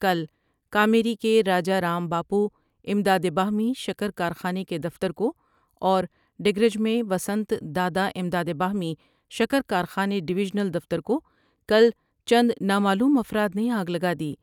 کل کا میری کے راجہ رام با پوامداد باہمی شکر کارخانے کے دفتر کو اور ڈ گرج میں وسنت دادا امداد باہمی شکر کارخانے ڈیویژنل دفتر کوکل چند نامعلوم افراد نے آگ لگادی ۔